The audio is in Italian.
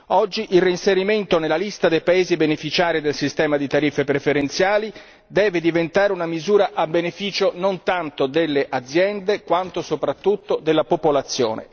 Oggi, il reinserimento nella lista dei paesi beneficiari del sistema di tariffe preferenziali deve diventare una misura a beneficio non tanto delle aziende quanto soprattutto della popolazione.